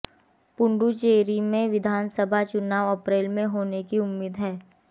पुडुचेरी में विधानसभा चुनाव अप्रैल में होने की उम्मीद है